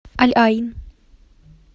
аль айн